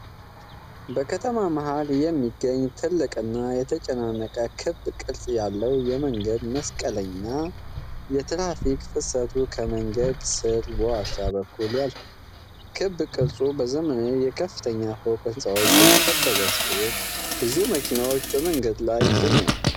በከተማ መሃል ላይ የሚገኝ ትልቅና የተጨናነቀ ክብ ቅርጽ ያለው የመንገድ መስቀለኛ ። የትራፊክ ፍሰቱ ከመንገዱ ስር በዋሻ በኩል ያልፋል። ክብ ቅርጹ በዘመናዊ የከፍተኛ ፎቅ ህንፃዎች የተከበበ ሲሆን፣ ብዙ መኪኖችም በመንገዱ ላይ ይገኛሉ።